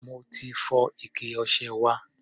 Mo fi fọ́ ike ọṣẹ wa.